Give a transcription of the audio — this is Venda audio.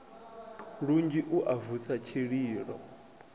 lunzhi u a vusa tshililo